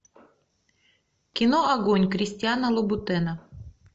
кино огонь кристиана лубутена